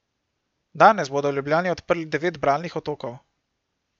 Danes bodo v Ljubljani odprli devet bralnih otokov.